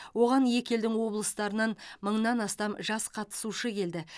оған екі елдің облыстарынан мыңнан астам жас қатысушы келді